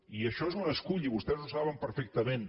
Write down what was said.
i això és un escull i vostès ho saben perfectament